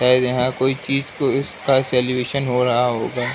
शायद यहाँ कोई चीज को इसका सल्यूशन हो रहा होगा।